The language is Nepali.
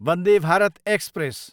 वन्दे भारत एक्सप्रेस